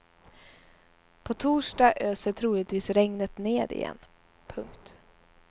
På torsdag öser troligtvis regnet ned igen. punkt